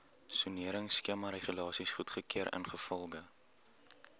soneringskemaregulasies goedgekeur ingevolge